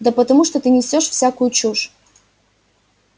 да потому что ты несёшь всякую чушь